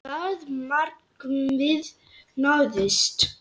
Það markmið náðist.